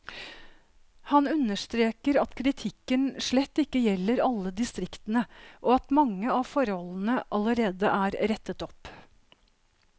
Han understreker at kritikken slett ikke gjelder alle distriktene, og at mange av forholdene allerede er rettet opp.